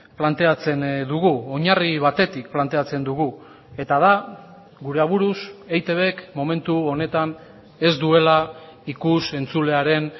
planteatzen dugu oinarri batetik planteatzen dugu eta da gure aburuz eitbk momentu honetan ez duela ikus entzulearen